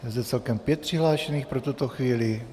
Je zde celkem pět přihlášených pro tuto chvíli.